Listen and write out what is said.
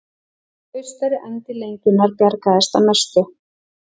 Austari endi lengjunnar bjargaðist að mestu